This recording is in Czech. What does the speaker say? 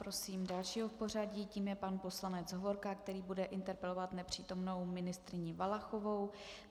Prosím dalšího v pořadí, tím je pan poslanec Hovorka, který bude interpelovat nepřítomnou ministryni Valachovou.